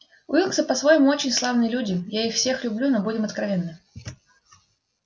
уилксы по-своему очень славные люди я их всех люблю но будем откровенны